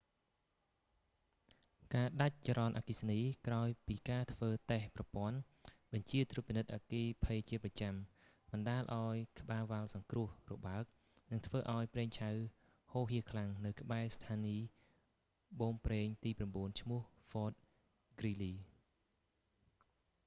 ការដាច់ចរន្តអគ្គិសនី ក្រោយពីការធ្វើតេស្តប្រព័ន្ធបញ្ជាត្រួតពិនិត្យអគ្គិភ័យជាប្រចាំ បណ្ដាលឲ្យក្បាលវ៉ាល់សង្គ្រោះ របើក និងធ្វើឲ្យប្រេងឆៅហូរហៀខ្លាំងនៅក្បែរស្ថានីយប៉ូមប្រេងទី9 ឈ្មោះ ហ្វត ហ្គ្រីលី fort greely